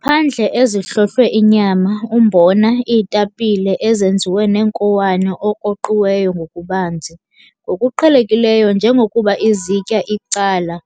Ngaphandle ezihlohlwe inyama, umbona, iitapile ezenziwe neenkowane okroqiweyo ngokubanzi, ngokuqhelekileyo njengokuba izitya icala,